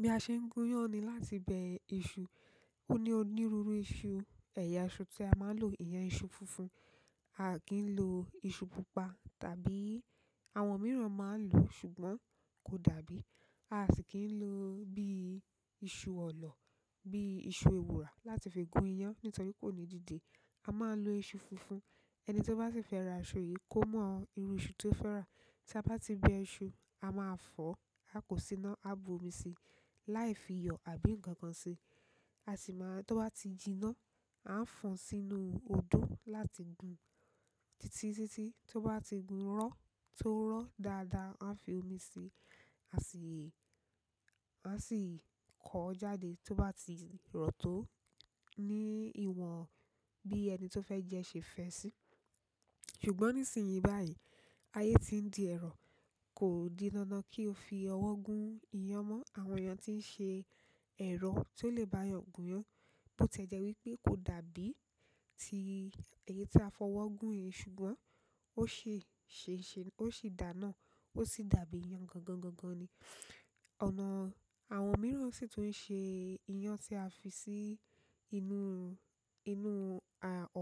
Bí a ṣe ń gun iyán ni láti bẹ iṣu. Ó ní onírúurú iṣu, ẹ̀yà iṣu tí a máa ń lò iyán, iṣu funfun. A kì n lo iṣu pupa tàbí àwọn mìíràn máa ń lò, ṣùgbọ́n kò dàbí. A sì kì ń lo bí i iṣu ọ̀lọ̀, bí i iṣu ewùrà láti fi gun iyán nítorí kò ní dìde. A máa ń lo iṣu funfun. Ẹni tí ó bá sì fẹ́ ra iṣu yìí kó mọ irú iṣu tó fẹ́ rà. Tí a bá ti bẹ iṣu, a máa fọ̀, a kò sì ná, a bu omi sí i láì fi iyọ̀ àbí nǹkan kan sí. A sì máa, tí ó bá ti jiná, a ń fọn sínú odó láti gun títí títí tí ó bá ti gun rọ́, tó rọ́ dáadáa, a fi omi sí. A sì, a sì kọ́ ọ́ jáde tí ó bá ti rọ̀ tó ní ìwọ̀n bí ẹni tó fẹ́ jẹ́ ṣe fẹ́ sí. Ṣùgbọ́n nísìnyí báyìí, ayé ti ń di ẹ̀rọ. Kò di dandan kí o fi ọwọ́ gun iyán mọ́. Àwọn èèyàn tí ń ṣe ẹ̀rọ tó lè bá yàn gun iyán, bó tie jẹ wípé kò dàbí ti èyí tí a fọwọ́ gun yìí ṣùgbọ́n ó ṣi ṣe ṣe, ó sì dà náà. Ó sì dàbí iyán gangan ni. Ọ̀nà àwọn mìíràn sì tún ṣe iyán tí a fi sí inú, inú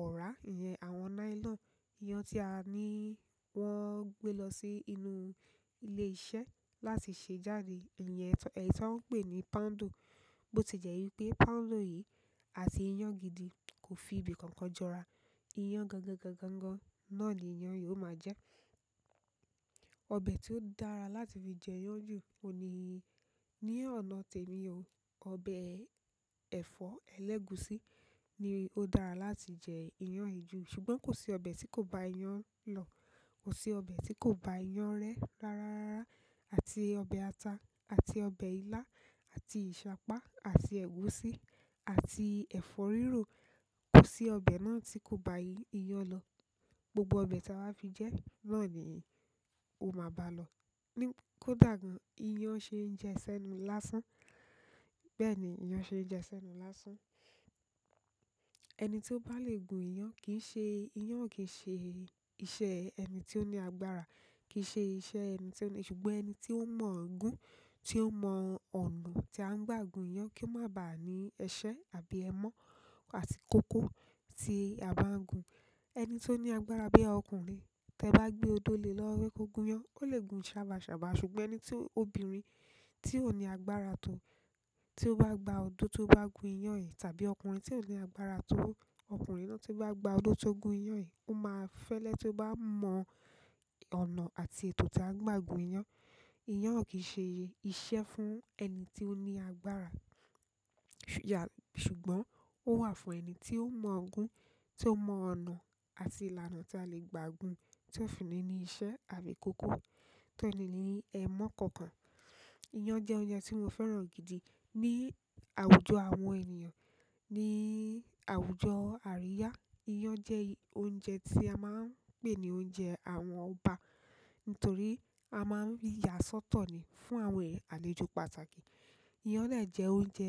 ọ̀rá, ìyẹn àwọn nylon. Iyán tí a ní wọ́n gbé lọ sí inú ilé iṣẹ́ láti ṣe jáde. Ìyẹn, èyí tí wọ́n ń pè ní poundo. Bó ti jẹ́ wípé poundo yìí àti iyán gidi kò fi ibi kankan jọra. Iyán gangan náà ni iyán yóò máa jẹ́. Ọbẹ̀ tí ó dára láti fi jẹ iyán jù ò ní, ní ọ̀nà tèmi o. Ọbẹ̀ ẹ̀fọ́ ẹlẹ́gùsí ni ó dára láti jẹ iyán yi jù. Ṣùgbọ́n kò sí ọbẹ̀ tí kò bá iyán lọ. Ko si ọbẹ̀ ti ko ba iyan re rara àti ọbẹ̀ ata, àti ọbẹ̀ ilá, àti ìṣàpá, àti ẹ̀gúsí, àti ẹ̀fọ́ rírò. Ko si ọbẹ̀ na ti ko ba iyan lo, gbo gbo ọbẹ̀ ti a wa fi je na ni oma baalo. Kódà gan, iyán ṣe jẹ sẹ́nu lásán. Bẹ́ẹ̀ ni iyán ṣe jẹ sẹ́nu lásán. Ẹni tí ó bá le gun iyán kì í ṣe, iyán ò kì í ṣe iṣẹ́ ẹni tí ó ní agbára, kì í ṣe iṣẹ́ ẹni tí ó ní. Ṣùgbọ́n ẹni tí ó mọ̀ gún, tí ó mọ ọ̀nà tí a ń gbà gun iyán kí ó má bà á ní ẹsẹ àbí ẹmọ́ àti kókó tí a bá ń gun. Ẹni tí ó ní agbára bí ọkùnrin tí ẹ bá gbé odó le lọ wé kó gun iyán, ó lè gun sabaṣaba. Ṣùgbọ́n ẹni tí, obìnrin tí ò ní agbára tó tí ó bá gba odó tí ó bá gun iyán yìí tàbí ọkùnrin tí ò ní agbára tó, ọkùnrin náà tí ó bá gba odó tí ó gun iyán yìí, ó máa fẹ́lẹ́ tí ó bá mọ ọ̀nà àti ètò tí a ń gbà gun iyán. Iyán ò kì í ṣe iṣẹ́ fún ẹni tí ó ní agbára. Ṣùgbọ́n ó wà fún ẹni tí ó mọ̀ ọ́n gún, tí ó mọ ọ̀nà àti ìlànà tí a lè gbà gun, tí ó fi ní ní iṣẹ́ àbí kókó, tí ó ní ní ẹmọ́ kankan. Iyán jẹ́ oúnjẹ tí mo fẹ́ràn gidi. Ni àwùjọ àwọn ènìyàn, ní àwùjọ àríyá, iyán jẹ́ oúnjẹ tí a máa ń pè ní oúnjẹ àwọn ọba nítorí a máa ń yà sọ́tọ̀ ni fún àwọn àlejò pàtàkì. Iyán náà jẹ́ oúnjẹ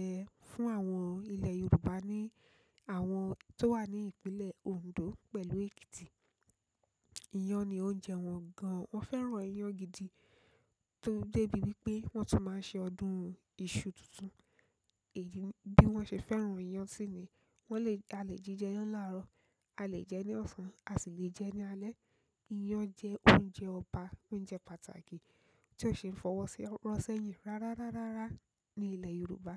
fún àwọn ilẹ̀ Yorùbá ni àwọn tó wà ní ìpínlẹ̀ Ondo pẹ̀lú Ekiti. Iyán ni oúnjẹ wọn gan. Wọ́n fẹ́ràn iyán gidi tó dé ibi wípé wọ́n tún máa ń ṣe ọdún iṣu tuntun. Èyí ni bí wọ́n ṣe fẹ́ràn iyán sì ni. Wọ́n lè, a lè jí jẹ iyán láàárọ̀, a lè jẹ ẹ́ ní ọ̀sán, a sì lè jẹ ẹ́ ní alẹ́. Iyán jẹ́ oúnjẹ ọba, oúnjẹ pàtàkì tí ó ṣe ń fọwọ́ si ọwọ́ ro sẹ́yìn rárá ní ilẹ̀ Yorùbá.